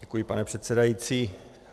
Děkuji, pane předsedající.